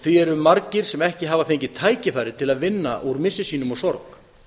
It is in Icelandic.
því eru margir sem ekki hafa fengið tækifæri til að vinna úr missi sínum og sorg